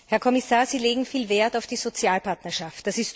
Herr Kommissar, Sie legen viel Wert auf die Sozialpartnerschaft.